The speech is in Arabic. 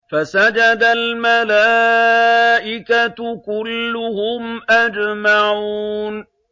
فَسَجَدَ الْمَلَائِكَةُ كُلُّهُمْ أَجْمَعُونَ